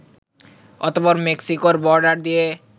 অতঃপর মেক্সিকোর বর্ডার দিয়ে